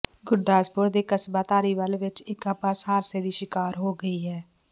ਗੁਰਦਾਸਪੁਰ ਦੇ ਕਸਬਾ ਧਾਰੀਵਾਲ ਵਿਚ ਇੱਕ ਬੱਸ ਹਾਦਸੇ ਦੀ ਸ਼ਿਕਾਰ ਹੋ ਗਈ ਹੈ